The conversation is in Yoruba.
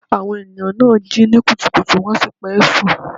Àwọn ènìyàn náà jí ní kùtùkùtù wọ́n sì pẹ́ sùn.